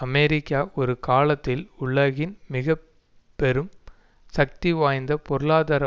America ஒரு காலத்தில் உலகின் மிக பெரும் சக்தி வாய்ந்த பொருளாதார